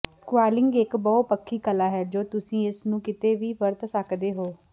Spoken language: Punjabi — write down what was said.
ਕੁਇਲਿੰਗ ਇਕ ਬਹੁਪੱਖੀ ਕਲਾ ਹੈ ਜੋ ਤੁਸੀਂ ਇਸ ਨੂੰ ਕਿਤੇ ਵੀ ਵਰਤ ਸਕਦੇ ਹੋ